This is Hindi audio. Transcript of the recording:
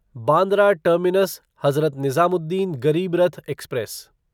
Bandra terminus Hazrat Nizamuddin Garib Rath express